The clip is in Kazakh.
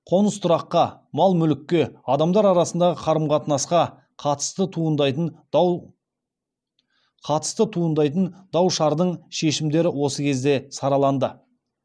қоныс тұраққа мал мүлікке адамдар арасындағы қарым қатынасқа қатысты туындайтын дау шардың шешімдері осы кезде сараланды